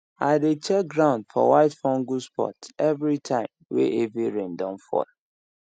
i dey check ground for white fungus spot everytime wey heavy rain don fall